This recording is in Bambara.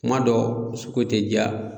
Kuma dɔw sugu te ja